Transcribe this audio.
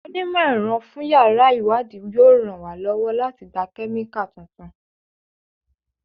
Onímọ̀-ẹ̀rọ fún yàrá ìwádìí yóò ràn wá lọ́wọ́ láti gba Kẹ́míkà tuntun.